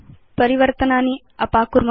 परिवर्तनानि अपाकुर्म